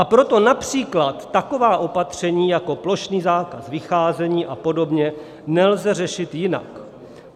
A proto například taková opatření, jako plošný zákaz vycházení a podobně, nelze řešit jinak.